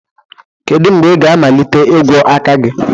kedu mgbe ị ga-amalite ịgwọ aka gị